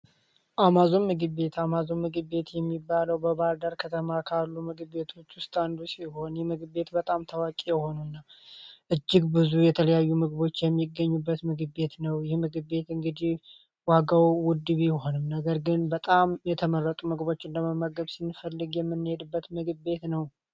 አማዞን ምግብ ቤት እጅግ ብዙ የተለያዩ ምግቦች የሚገኙበት ምግብ ቤት ነው የምግብ ቤት እንግዲ ዋጋውን ነገር ግን በጣም የተመረጡ ምግቦችን ለመመገብበት ምግብ ቤት ነው